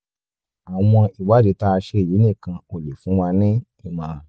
àwọn ìwádìí tá a ṣe yìí nìkan ò lè fún wa nímọ̀ràn